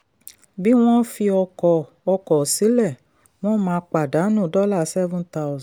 bí wọ́n fi ọkọ̀ ọkọ̀ sílẹ̀ wọ́n máa pàdánù dollar seven thousand